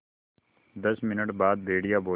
दस मिनट बाद भेड़िया बोला